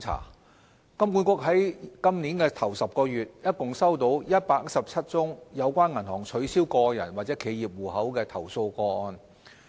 香港金融管理局於本年首10個月，共收到117宗有關銀行取消個人或企業戶口的投訴個案。